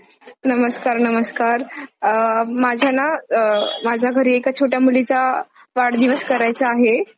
गरम किंवा थंड पिता येतो. सूचना नैसर्गिकरीत्या वाळवलेली बुरंश पाने shopping portal वर मिळतात. ती हवाबंद डब्यात भरून